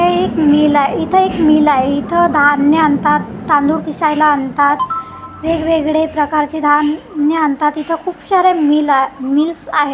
ए एक मील आहे इथं एक मील आहे इथं धान्य आणतात तांदूळ पिसायला आणतात वेगवेगळे प्रकारचे धान्य आणतात इथं खूप सारे मिल आ मिल्स आहेत.